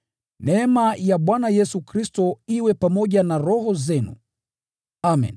Neema ya Bwana Yesu Kristo iwe pamoja na roho zenu. Amen.